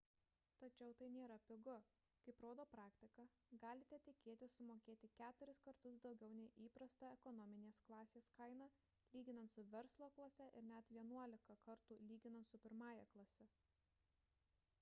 tačiau tai nėra pigu kaip rodo praktika galite tikėtis sumokėti keturis kartus daugiau nei įprasta ekonominės klasės kaina lyginant su verslo klase ir net vienuolika kartų lyginant su pirmąja klase